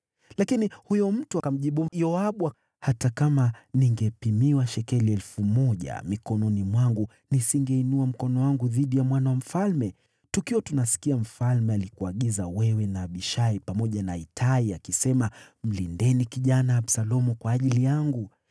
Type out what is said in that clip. Lakini huyo mtu akamjibu Yoabu, “Hata kama ningepimiwa shekeli 1,000 mikononi mwangu, nisingeinua mkono wangu dhidi ya mwana wa mfalme. Tukiwa tunasikia, mfalme alikuagiza wewe na Abishai pamoja na Itai, akisema, ‘Mlindeni kijana Absalomu kwa ajili yangu.’